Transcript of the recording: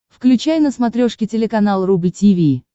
включай на смотрешке телеканал рубль ти ви